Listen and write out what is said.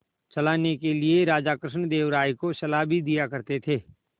चलाने के लिए राजा कृष्णदेव राय को सलाह भी दिया करते थे